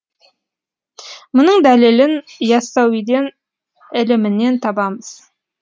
мұның дәлелін иассауиден ілімінен табамыз